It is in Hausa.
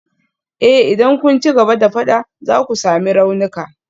Eh idan kun ci gaba da fada za ku sami raunuka.